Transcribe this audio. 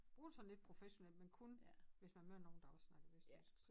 Bruger det sådan lidt professionelt men kun hvis man møder nogen der også snakker vestjysk så